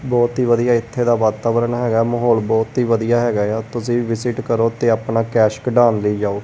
ਬਹੁਤ ਹੀ ਵਧੀਆ ਇੱਥੇ ਦਾ ਵਾਤਾਵਰਨ ਹੈਗਾ ਮਾਹੌਲ ਬਹੁਤ ਹੀ ਵਧੀਆ ਹੈਗਾ ਏ ਆ ਤੁਸੀਂ ਵੀ ਵਿਜਿਟ ਕਰੋ ਤੇ ਆਪਣਾ ਕੈਸ਼ ਕਢਾਉਣ ਲਈ ਜਾਓ।